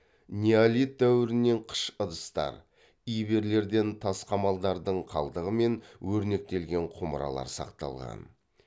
неолит дәуірінен қыш ыдыстар иберлерден тас қамалдардың қалдығы мен өрнектелген құмыралар сақталған